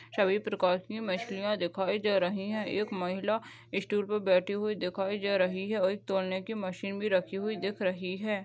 सबी प्रकार की मछलिया दिखाई दे रही है एक महिला स्टूल पर बैठी हुई दिखयी दे रही है और एक तोलने की मशीन भी रखी हुई दिख रही है।